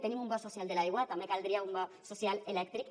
tenim un bo social de l’aigua també caldria un bo social elèctric